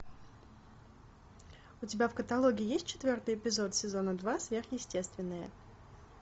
у тебя в каталоге есть четвертый эпизод сезона два сверхъестественное